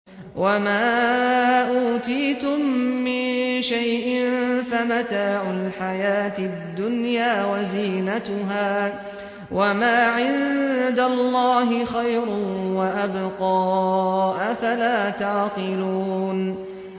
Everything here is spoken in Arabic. وَمَا أُوتِيتُم مِّن شَيْءٍ فَمَتَاعُ الْحَيَاةِ الدُّنْيَا وَزِينَتُهَا ۚ وَمَا عِندَ اللَّهِ خَيْرٌ وَأَبْقَىٰ ۚ أَفَلَا تَعْقِلُونَ